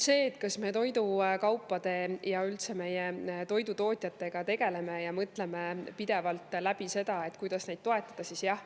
Kas me meie toidukaupade ja üldse meie toidutootjatega tegeleme ja mõtleme pidevalt läbi, kuidas neid toetada?